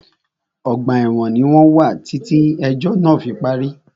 Ọgbà ẹ̀wọ̀n ní wọ́n wà títí ẹ̀jọ́ náà fí parí.